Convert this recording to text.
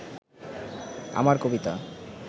আমার কবিতা